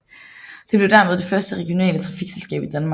Det blev dermed det første regionale trafikselskab i Danmark